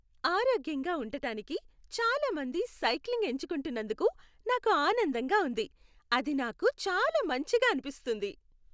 ఆరోగ్యంగా ఉండటానికి చాలా మంది సైక్లింగ్ ఎంచుకుంటున్నందుకు నాకు ఆనందంగా ఉంది. అది నాకు చాలా మంచిగా అనిపిస్తుంది.